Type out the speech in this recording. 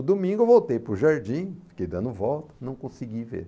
No domingo eu voltei para o jardim, fiquei dando volta, não consegui ver.